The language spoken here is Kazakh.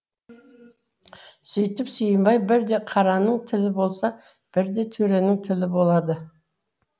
сүйтіп сүйімбай бірде қараның тілі болса бірде төренің тілі болады